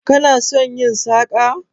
Kana son yin saƙa?